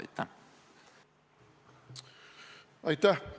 Aitäh!